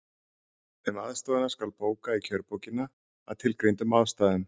Um aðstoðina skal bóka í kjörbókina, að tilgreindum ástæðum.